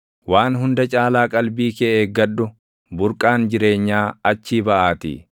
Waan hunda caalaa qalbii kee eeggadhu; burqaan jireenyaa achii baʼaatii.